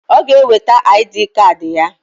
Ọ g'eweta aịdịị kad ya.